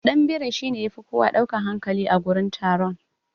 Ɗanbiri shine yafi kowa ɗaukan hankali a gurin taron.